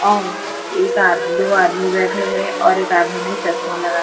अम एक आद दो आदमी बैठे हैं और एक आदमी ने चश्मा लगाया--